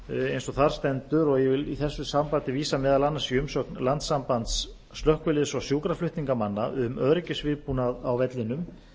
eins og þar stendur og ég vil í þessu sambandi vísa maí umsögn landssambands slökkviliðs og sjúkraflutningamanna um öryggisviðbúnað á vellinum